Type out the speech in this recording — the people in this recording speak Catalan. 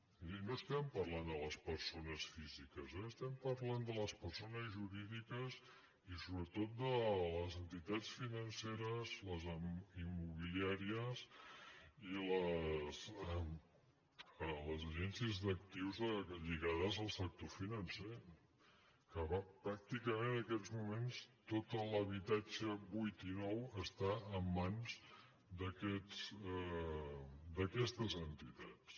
és a dir no estem par·lant de les persones físiques eh estem parlant de les persones jurídiques i sobretot de les entitats finance·res les immobiliàries i les agències d’actius lligades al sector financer que pràcticament en aquests moments tot l’habitatge buit i nou està en mans d’aquestes enti·tats